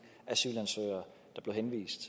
asylansøgere der blev henvist